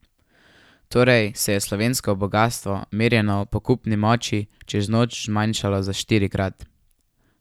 Torej se je slovensko bogastvo, merjeno po kupni moči, čez noč zmanjšalo za štirikrat.